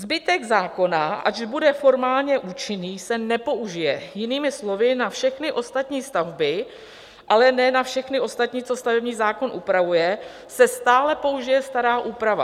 Zbytek zákona, ač bude formálně účinný, se nepoužije, jinými slovy, na všechny ostatní stavby, ale ne na všechny ostatní, co stavební zákon upravuje, se stále použije stará úprava.